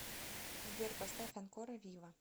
сбер поставь анкора виво